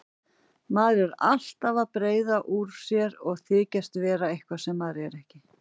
Maður er alltaf að breiða úr sér og þykjast vera eitthvað sem maður er ekki.